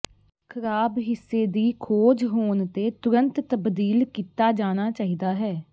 ਖਰਾਬ ਹਿੱਸੇ ਦੀ ਖੋਜ ਹੋਣ ਤੇ ਤੁਰੰਤ ਤਬਦੀਲ ਕੀਤਾ ਜਾਣਾ ਚਾਹੀਦਾ ਹੈ